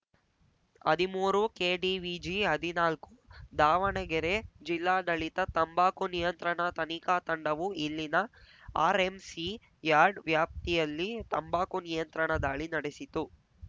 ಹದಿಮೂರು ಕೆಡಿವಿಜಿಹದಿನಾಲ್ಕು ದಾವಣಗೆರೆ ಜಿಲ್ಲಾಡಳಿತ ತಂಬಾಕು ನಿಯಂತ್ರಣ ತನಿಖಾ ತಂಡವು ಇಲ್ಲಿನ ಆರ್‌ಎಂಸಿ ಯಾರ್ಡ್‌ ವ್ಯಾಪ್ತಿಯಲ್ಲಿ ತಂಬಾಕು ನಿಯಂತ್ರಣ ದಾಳಿ ನಡೆಸಿತು